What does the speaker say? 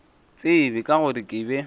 tsebe ka gore ke be